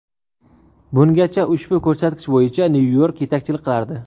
Bungacha ushbu ko‘rsatkich bo‘yicha Nyu-York yetakchilik qilardi.